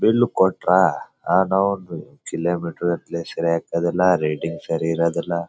Bill ಕೊಟ್ರ kilometre ಗಟ್ಲೆ ಸರಿ ಆಗ್ತದಿಲ್ಲ ರೇಟಿಂಗ್ ಸರಿ ಇರೋದಿಲ್ಲ.